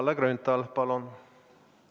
Kalle Grünthal, palun!